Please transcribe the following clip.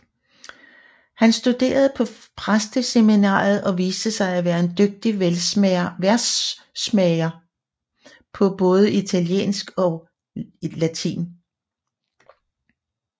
Han studerede på præsteseminariet og viste sig at være en dygtig versmager på både italiensk og latin